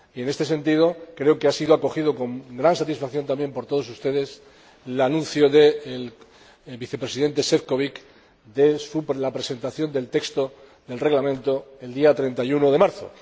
En este sentido creo que ha sido acogido con gran satisfacción también por todos ustedes el anuncio del Vicepresidente Šefčovič de la presentación del texto del Reglamento el día 31 de marzo.